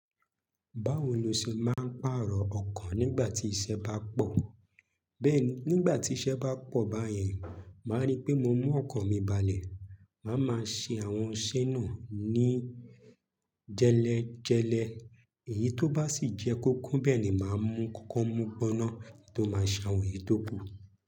Báwo lo ṣe máa ń pàrọ̀ ọkan nígbà tí iṣẹ́ bá pọ̀? Bẹ́ẹ̀ni, nígbà tí iṣẹ́ bá pọ̀ báyẹn, màá ri pé mo mú ọkan mi balẹ̀, màá máa ṣe àwọn isẹ naa ní jẹ́lẹ̀ẹ́jẹ̀lẹ̀ẹ́. Èyí tó bá sì jẹ́ kókún nbẹẹ ni màá mú kọ́kọ́ mugbọ naa to máa ṣe awọn èyí tó kù.